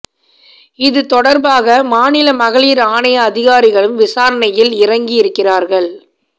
இது தொடர்பாக மாநில மகளிர் ஆணைய அதிகாரிகளும் விசாரணையில் இறங்கி இருக்கிறார்கள்